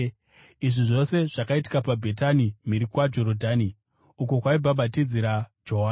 Izvi zvose zvakaitika paBhetani mhiri kwaJorodhani, uko kwaibhabhatidzira Johani.